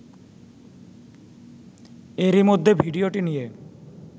এরই মধ্যে ভিডিওটি নিয়ে